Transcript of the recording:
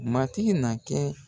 Matigi na kɛ.